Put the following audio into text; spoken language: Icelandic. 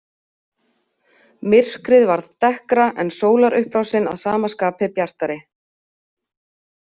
Myrkrið varð dekkra, en sólarupprásin að sama skapi bjartari.